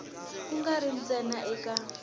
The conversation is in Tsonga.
ku nga ri ntsena eka